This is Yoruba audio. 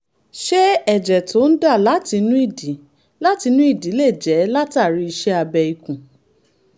ṣé ẹ̀jẹ̀ tó ń dà láti inú ìdí láti inú ìdí lè jẹ́ látàri iṣẹ́ abẹ ikùn?